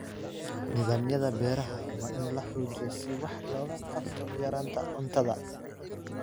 Nidaamyada beeraha waa in la xoojiyo si wax looga qabto yaraanta cuntada.